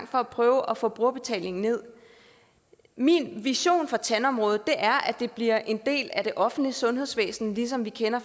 for at prøve at få brugerbetalingen nederst min vision for tandområdet er at det bliver en del af det offentlige sundhedsvæsen ligesom vi kender